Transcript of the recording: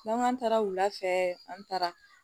N'an k'an taara wulafɛ an taara